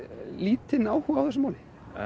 lítinn áhuga á þessu máli